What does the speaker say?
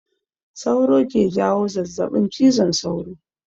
Sauro ke jawo zazzaɓin cizon sauro